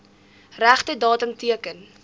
regte datum teken